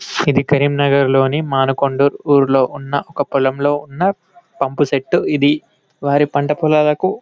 ఇది కరీంనగర్లోని మానకొండూర్ ఊర్లో ఉన్న ఒక పొలంలో ఉన్న పంపుసెట్టు ఇది వారి పంట పొలాలకు --